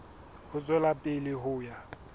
ho tswela pele ho ya